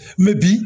Mɛ bi